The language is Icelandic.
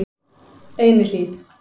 Einihlíð